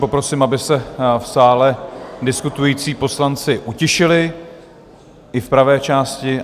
Poprosím, aby se v sále diskutující poslanci utišili, i v pravé části.